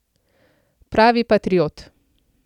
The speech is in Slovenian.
Pravi patriot.